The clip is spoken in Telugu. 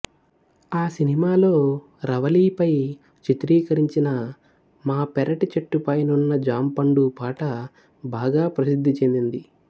ఆ సినిమాలో రవళిపై చిత్రీకరించిన మా పెరటి చెట్టుపైనున్న జాంపండు పాట బాగా ప్రసిద్ధి చెందింది